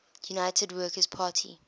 united workers party